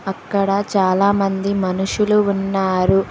అక్కడ చాలామంది మనుషులు ఉన్నారు